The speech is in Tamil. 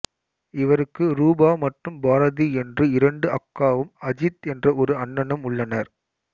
இவருக்கு ரூபா மற்றும் பாரதி என்று இரண்டு அக்காவும் அஜித் என்ற ஒரு அண்ணனும் உள்ளனர்